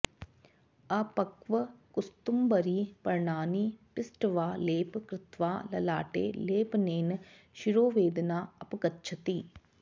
अपक्वकुस्तुम्बरीपर्णानि पिष्ट्वा लेप कृत्वा ललाटे लेपनेन शिरोवेदना अपगच्छति